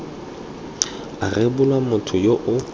a rebolwa motho yo o